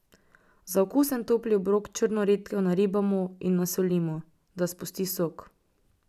Za okusen topli obrok črno redkev naribamo in nasolimo, da spusti sok.